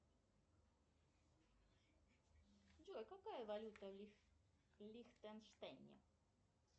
джой какая валюта в лихтенштейне